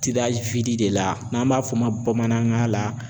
de la n'an b'a f'o ma bamanankan la